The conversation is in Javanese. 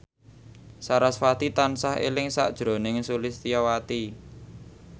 sarasvati tansah eling sakjroning Sulistyowati